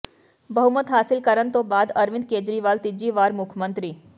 ਬਹੁਮਤ ਹਾਸਿਲ ਕਰਨ ਤੋਂ ਬਾਅਦ ਅਰਵਿੰਦ ਕੇਜਰੀਵਾਲ ਤੀਜੀ ਵਾਰ ਮੁ੍ੱਖ ਮੰਤਰੀ